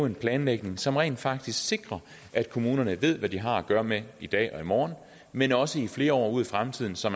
en planlægning som rent faktisk sikrer at kommunerne ved hvad de har at gøre med i dag og i morgen men også flere år ud i fremtiden så